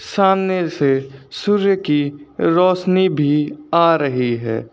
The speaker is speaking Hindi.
सामने से सूर्य की रोशनी भी आ रही है।